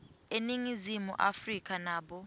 eningizimu afrika nabo